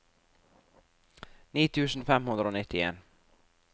ni tusen fem hundre og nittien